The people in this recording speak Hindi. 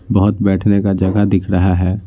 बहुत बैठने का जगह दिख रहा है।